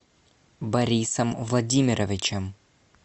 борисом владимировичем